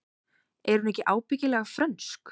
Er hún ekki ábyggilega frönsk?